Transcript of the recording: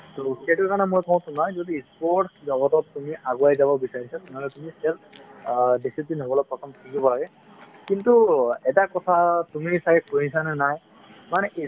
সেইটো কাৰণে মই কওঁ শুনা যদি sports জগতত তুমি আগুৱাই যাব বিচাৰিছা তেনেহ'লে তুমি self অ discipline হবলৈ প্ৰথম শিকিব লাগে কিন্তু এটা কথা তুমি চাগে শুনিছা নে নাই মানে